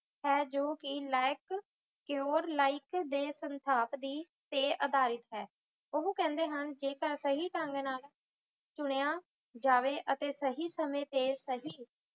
ਹੈ ਜੋ ਕਿ ਲਾਇਕ ਲਾਇਕ ਦੇ ਸੰਥਾਪ ਦੀ ਤੇ ਅਧਾਰਿਤ ਹੈ ਓਹੋ ਕਹਿੰਦੇ ਹਨ ਕਿ ਜੇ ਤਾਂ ਸਹੀ ਢੰਗ ਨਾਲ ਸੁੰਨੀਆਂ ਜਾਵੇ ਅਤੇ ਸਹੀ ਸਮੇਂ ਤੇ ਸਹੀ